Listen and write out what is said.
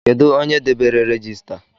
Kedụ onye debere regista?